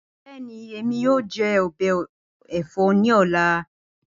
Bẹẹni, Emi yoo jẹ ọbẹ ẹfọ ni ọla.